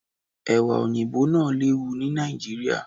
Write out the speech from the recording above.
Ẹ̀wà Òyìnbó náà lè wù ni Nàìjíríà.